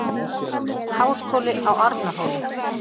Háskóli á Arnarhóli.